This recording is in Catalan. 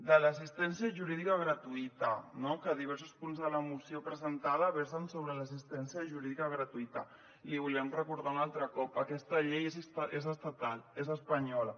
de l’assistència jurídica gratuïta no que diversos punts de la moció presentada versen sobre l’assistència jurídica gratuïta l’hi volíem recordar un altre cop aquesta llei és estatal és espanyola